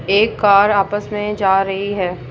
एक कार आपस में जा रही है।